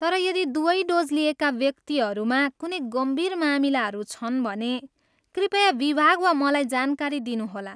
तर यदि दुबै डोज लिएका व्यक्तिहरूमा कुनै गम्भीर मामिलाहरू छन् भने कृपया विभाग वा मलाई जानकारी दिनुहोला।